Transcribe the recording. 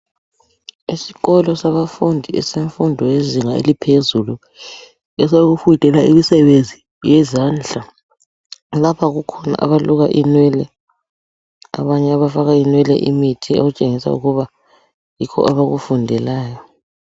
Esikolo sabafundi esemfundo eyezinga eliphezulu, esokufundela imisebenzi yezandla. Lapha kukhona abaluka inwele, abanye abafaka inwele imithi okutshengisa ukuba yikho abakufundelayo.